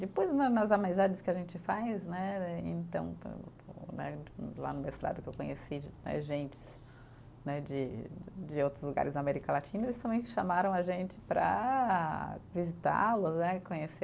Depois né, nas amizades que a gente faz né, então né lá no mestrado que eu conheci, gentes né de de outros lugares da América Latina, eles também chamaram a gente para visitá-los né, conhecer.